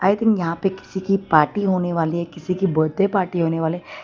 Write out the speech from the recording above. आई think यहां पे किसी की पार्टी होने वाली है किसी की बड्डे पार्टी होने वाले --